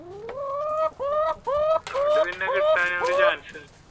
അതുകൊണ്ട് കിട്ടാൻ ഒരു chance ഉണ്ട്.